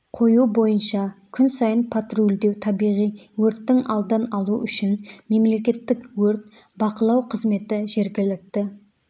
қою бойынша күн сайын патрульдеу табиғи өрттің алдын алу үшін мемлекеттік өрт бақылау қызметі жергілікті